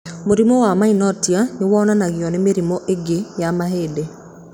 Mũrimũ wa myotonia nĩ wonanagio nĩ mĩrimũ ĩngĩ ya mahĩndĩ.